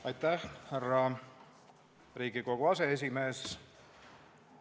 Aitäh, härra Riigikogu aseesimees!